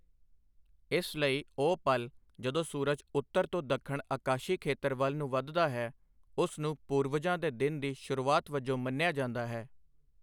ਇਸ ਲਈ, ਉਹ ਪਲ ਜਦੋਂ ਸੂਰਜ ਉੱਤਰ ਤੋਂ ਦੱਖਣ ਆਕਾਸ਼ੀ ਖੇਤਰ ਵੱਲ ਨੂੰ ਵੱਧਦਾ ਹੈ, ਉਸ ਨੂੰ ਪੂਰਵਜਾਂ ਦੇ ਦਿਨ ਦੀ ਸ਼ੁਰੂਆਤ ਵਜੋਂ ਮੰਨਿਆ ਜਾਂਦਾ ਹੈ।